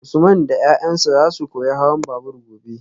Usman da yayansa zasu koyi hawan babur gobe